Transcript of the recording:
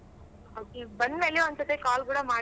Okay ಬಂದ್ ಮೇಲೆ ಒಂದ್ ಸತಿ call ಕೂಡ ಮಾಡ್ಸು.